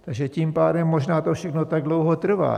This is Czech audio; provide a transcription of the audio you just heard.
Takže tím pádem možná to všechno tak dlouho trvá.